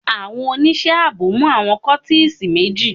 Àwọn oníṣẹ́ ààbò mú àwọn kọ́tísì méjì.